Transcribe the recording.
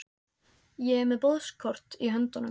Ég er með boðskort í höndunum.